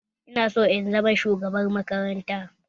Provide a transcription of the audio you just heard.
Ina son in zama shugaban makaranta